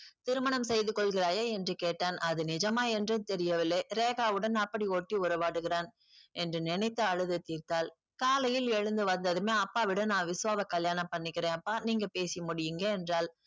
திருமணம் செய்துக்கொள்கிறாயா என்று கேட்டான் அது நிஜமா என்று தெரியவில்லை ரேக்காவுடன் அப்படி ஒட்டி உறவாடுகிறான் என்று நினைத்து அழுது தீர்த்தாள் காலையில் எழுந்து வந்ததுமே அப்பாவிடம் நா விஷவாவை கல்யாணம் பண்ணிக்கிறேன்ப்பா நீங்க பேசி முடிங்க என்றால்